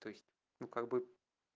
то есть ну как бы